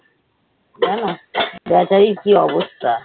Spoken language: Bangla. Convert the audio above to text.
জানো বেচারির কি অবস্থা।